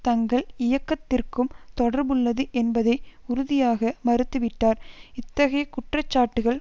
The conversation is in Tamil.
தங்கள் இயக்கத்திற்கும் தொடர்புள்ளது என்பதை உறுதியாக மறுத்துவிட்டார் இத்தகைய குற்றச்சாட்டுக்கள்